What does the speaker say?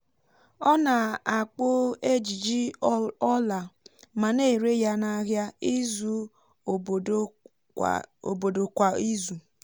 ọ na-akpụ ejiji ọla mà na-ere ya n’ahịa izu obodo kwa izù